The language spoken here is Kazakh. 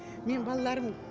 менің балаларым